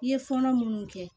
I ye fɔlɔ munnu kɛ